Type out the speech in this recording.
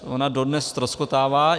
Ona dodnes ztroskotává.